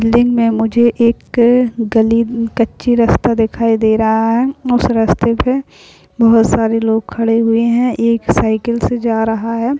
Building में मुझे एक अ गली कच्ची रास्ता दिखाई दे रहा है उस रस्ते पे बहुत सारे लोग खड़े हुए है एक साइकिल से जा रहा है।